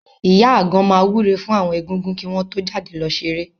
Ìyá Àgan máa wúre fún àwọn Egúngún kí wọ́n tó jáde lọ ṣeré.